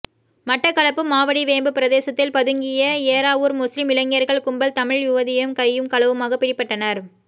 மட்டக்களப்பு மாவடிவேம்பு பிரதேசத்தில் பதுங்கிய ஏறாவூர் முஸ்லிம் இளைஞர்கள் கும்பல் தமிழ் யுவதியும் கையும் களவுமாக பிடிபட்டனர்